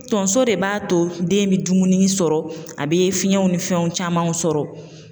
Tonso de b'a to den bɛ dumuni sɔrɔ a bɛ fiɲɛw ni fɛnw camanw sɔrɔ.